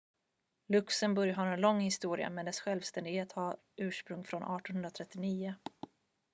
luxemburg har en lång historia men dess självständighet har ursprung från 1839